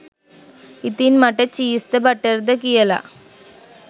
ඉතින් මට චීස් ද බටර්ද කියල